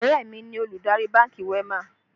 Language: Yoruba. Ọ̀rẹ́ mi ni olùdarí bánkì WEMA